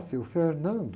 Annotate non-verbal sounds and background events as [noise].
Nasceu o. [unintelligible]